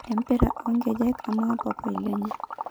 Empira onkejek ama papai lenye.